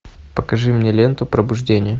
покажи мне ленту пробуждение